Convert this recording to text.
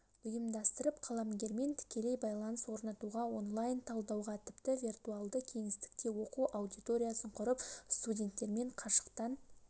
ұйымдастырып қаламгермен тікелей байланыс орнатуға онлайн талдауға тіпті вертуальды кеңестікте оқу аудиториясын құрып студенттермен қашықтан